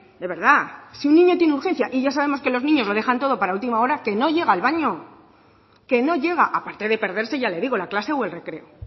de verdad si un niño tiene urgencia y ya sabemos que los niños lo dejan todo para última hora que no llega al baño que no llega aparte de perderse ya le digo la clase o el recreo